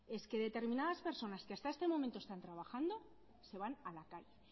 es que determinadas personas que hasta este momento están trabajando se van a la calle